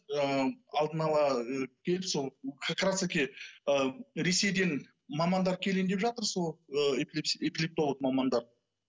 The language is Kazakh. ы алдын ала ы келіп сол как раз таки ы ресейден мамандар келейін деп жатыр сол ы эпилептолог мамандар